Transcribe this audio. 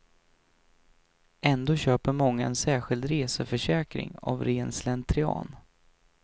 Ändå köper många en särskild reseförsäkring av ren slentrian.